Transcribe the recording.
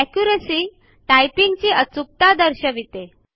accuracy - typing ची अचूकता दर्शविते